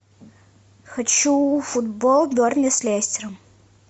хочу футбол бернли с лестером